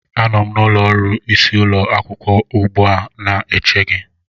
Anọ m n'ụlọ ọrụ isi ụlọ akwụkwọ ugbu a na-eche gị